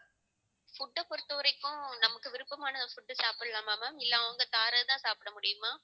food அ பொறுத்தவரைக்கும் நமக்கு விருப்பமான food சாப்பிடலாமா ma'am இல்ல அவங்க தாரதைதான் சாப்பிட முடியுமா?